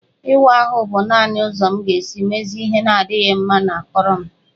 Ịwa ahụ bụ naanị ụzọ m ga-esi mezie ihe na-adịghị mma na akụrụ m